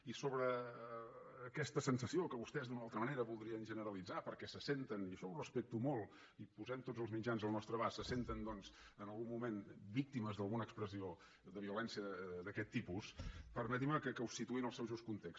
i sobre aquesta sensació que vostès d’una o altra manera voldrien generalitzar perquè se senten i això ho respecto molt i posem tots els mitjans al nostre abast en algun moment víctimes d’alguna expressió de violència d’aquest tipus permetin me que ho situï en el seu just context